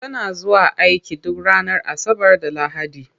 Tana zuwa aiki duk ranar Asabar da Lahadi.